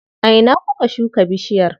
A ina kuka shuka bishiyar?